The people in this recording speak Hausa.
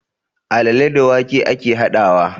Alale da wake ake haɗawa